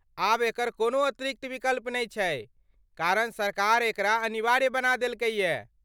आब एकर कोनो अतिरिक्त विकल्प नै छै, कारण सरकार एकरा अनिवार्य बना देलकैए।